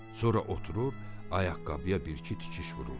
Sonra oturur, ayaqqabıya bir-iki tikiş vururdu.